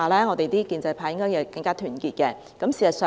我們建制派應該更加團結。